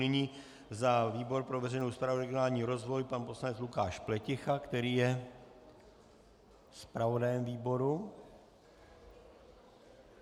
Nyní za výbor pro veřejnou správu a regionální rozvoj pan poslanec Lukáš Pleticha, který je zpravodajem výboru.